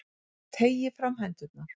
Teygi fram hendurnar.